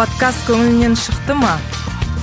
подкаст көңіліңнен шықта ма